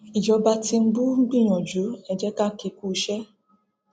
ìjọba tìǹbù ń gbìyànjú ẹ jẹ ká kí i kúuṣẹ